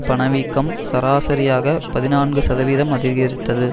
பணவீக்கம் சராசரியாக பதினான்கு சதவீதம் அதிகரித்தது